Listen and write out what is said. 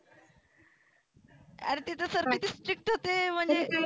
आरे ते तर sir किती strict होते म्हणजे